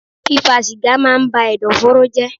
Fífa sìgá máa ń ba Ẹ̀dọ̀fóró jẹ́.